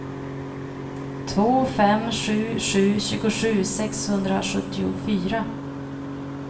två fem sju sju tjugosju sexhundrasjuttiofyra